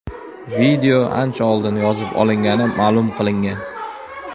Video ancha oldin yozib olingani ma’lum qilingan.